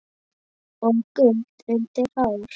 og gult undir hár.